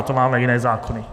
Na to máme jiné zákony.